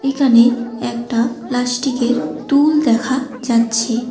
এখানে একটা প্লাস্টিকের টুল দেখা যাচ্ছে।